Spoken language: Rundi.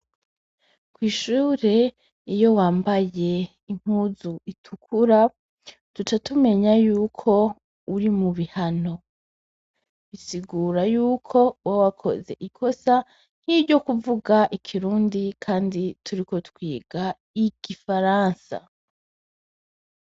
Kw'ishure iyo wambaye impuzu zitukura duca time ya yuko uri mubihano, bisigura yuko Uba wakoze ikosa nkiryo kuvuga ikirundi Kandi turiko twiga igifaransa.